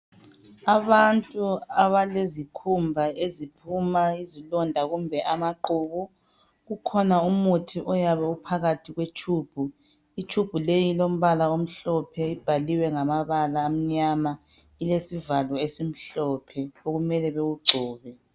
Abantu abalezikhumba eziphuma izilonda kumbe amaqhubu kukhona umuthi oyabe uphakathi kwetshubhu. Itshubhu leyi ilombala omhlophe ibhaliwe ngamabala amnyama ilesivalo esimhlophe okumele bewugcobe.